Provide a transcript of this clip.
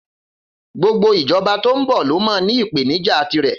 Gbogbo ìjọba tó ń bọ̀ ló máa ní ìpèníjà tirẹ̀.